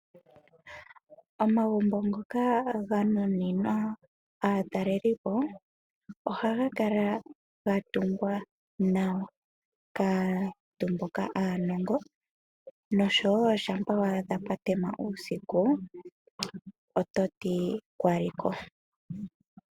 Omamgumbo ngoka ganuninwa aatalelipo ohaga kala gatungwa nawa kaantu mboka aanongo noshowo shampa waadha pwatema uusiku ototi kwali ko.